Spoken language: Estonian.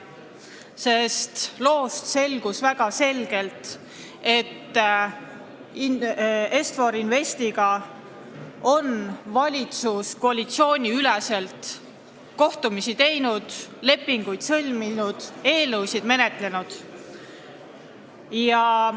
Sealsest loost tuli väga selgelt välja, et valitsus on Est-For Investiga koalitsiooniüleseid kohtumisi teinud, lepinguid sõlminud, eelnõusid menetlenud.